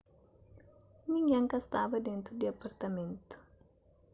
ningén ka staba dentu di apartamentu